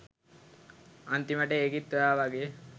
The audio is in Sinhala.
අන්තිමට ඒකිත් ඔයා වගේ